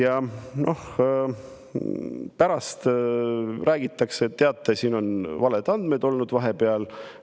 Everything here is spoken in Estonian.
Aga pärast räägitakse: teate, siin on valed andmed olnud vahepeal.